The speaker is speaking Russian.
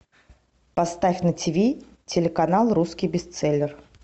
поставь на тв телеканал русский бестселлер